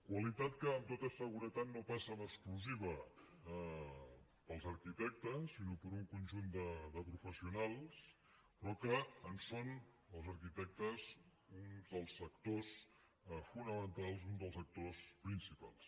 qualitat que amb tota seguretat no passa en exclusiva pels arquitectes sinó per un conjunt de professionals però que en són els arquitectes uns dels sectors fonamentals uns dels actors principals